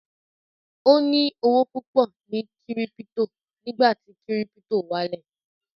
Ó ní owó púpọ̀ ní kírípítò ní ìgbà tí kírípítò wálẹ̀